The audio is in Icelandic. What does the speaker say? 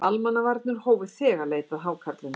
Almannavarnir hófu þegar leit að hákarlinum